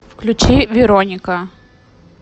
включи вероника